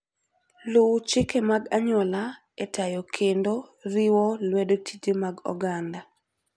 Luw chike mag anyuola e tayo kendo riwo lwedo tije mag oganda.